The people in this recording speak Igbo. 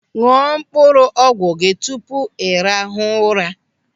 Ñụọ mkpụrụ ọgwụ gị tupu ị rahụ ụra.